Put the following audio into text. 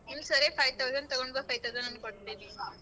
ಹೂ ಸರಿ five thousand ತಗೊಂಡ್ ಬಾ five thousand ನಾನ್ ಕೊಡ್ತೀನಿ.